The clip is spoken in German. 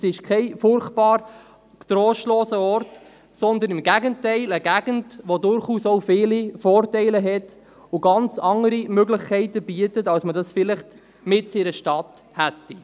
Es ist kein furchtbar trostloser Ort, sondern im Gegenteil eine Gegend, die durchaus auch viele Vorteile hat und ganz andere Möglichkeiten bietet, als man sie vielleicht mitten in einer Stadt hätte.